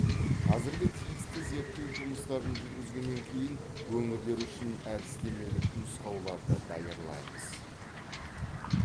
қазір тиісті зерттеу жұмыстарын жүргізгеннен кейін өңірлер үшін әдістемелік нұсқауларды даярлаймыз